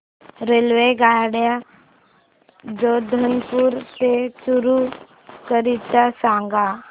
रेल्वेगाड्या जोधपुर ते चूरू करीता सांगा